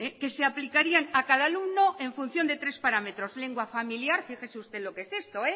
que se aplicarían a cada alumno en función de tres parámetros lengua familiar fíjese usted lo que es esto